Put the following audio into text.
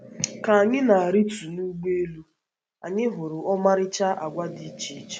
Ka anyị na - arịtu n’ụgbọelu, anyị hụrụ ọmarịcha àgwà dị iche iche.